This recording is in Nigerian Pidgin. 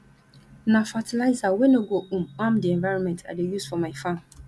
na fertilizer wey no go um harm di environment i dey use for my farm